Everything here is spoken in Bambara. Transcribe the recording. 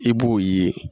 I b'o ye